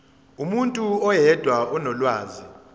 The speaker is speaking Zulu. umuntu oyedwa onolwazi